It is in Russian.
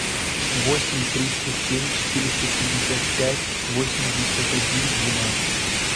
восемь триста семь четыреста пятьдесят пять восемьдесят один двенадцать